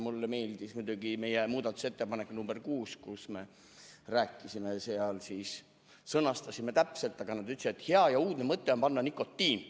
Mulle endale meeldis muidugi meie muudatusettepanek nr 6, mille me sõnastasime hästi täpselt, aga selle peale öeldi, et hea ja uudne mõte on "nikotiin".